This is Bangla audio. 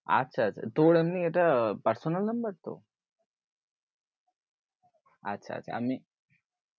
আচ্ছা আচ্ছা, তোর এটা এমনি personal number তো? আচ্ছা আচ্ছা আমি